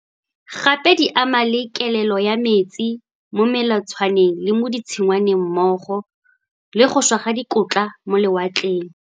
Gape di ama le kelelo ya metsi mo melatswaneng le mo ditshingwaneng mmogo le go šwa ga dikotla mo lewatleng.